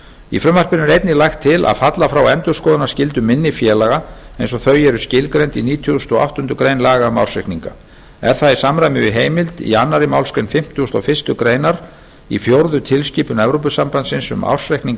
í frumvarpinu er einnig lagt til að falla frá endurskoðunarskyldu minni félaga eins og þau eru skilgreind í nítugasta og áttundu grein laga um ársreikninga er það í samræmi við heimild í annarri málsgrein fimmtugustu og fyrstu grein í fjórðu tilskipun evrópusambandsins um ársreikninga